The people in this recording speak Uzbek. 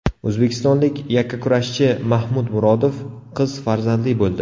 O‘zbekistonlik yakkakurashchi Mahmud Murodov qiz farzandli bo‘ldi.